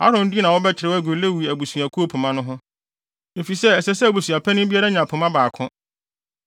Aaron din na wɔbɛkyerɛw agu Lewi abusuakuw pema no ho, efisɛ ɛsɛ sɛ abusuapanyin biara nya pema baako.